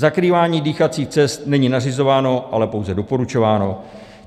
Zakrývání dýchacích cest není nařizováno, ale pouze doporučováno.